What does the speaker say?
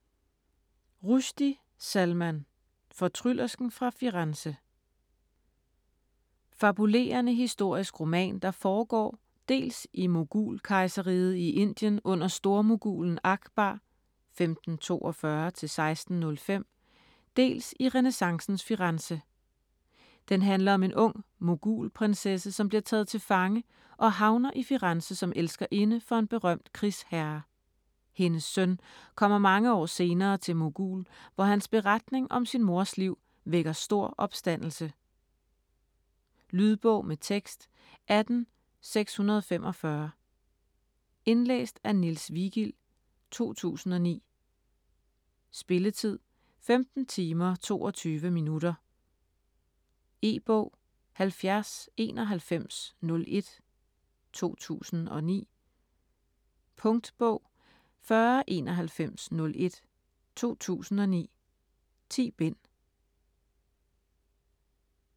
Rushdie, Salman: Fortryllersken fra Firenze Fabulerende historisk roman der foregår dels i Mogulkejserriget i Indien under stormogulen Akbar (1542-1605), dels i renæssancens Firenze. Den handler om en ung mogulprinsesse, som bliver taget til fange og havner i Firenze som elskerinde for en berømt krigsherre. Hendes søn kommer mange år senere til Mogul, hvor hans beretning om sin mors liv vækker stor opstandelse. Lydbog med tekst 18645 Indlæst af Niels Vigild, 2009. Spilletid: 15 timer, 22 minutter. E-bog 709101 2009. Punktbog 409101 2009. 10 bind.